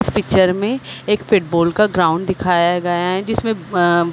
इस पिक्चर में एक फुटबॉल का ग्राउंड दिखाया गया है जिसमे अ--